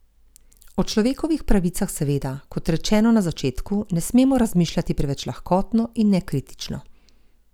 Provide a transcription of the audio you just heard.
O človekovih pravicah seveda, kot rečeno na začetku, ne smemo razmišljati preveč lahkotno in nekritično.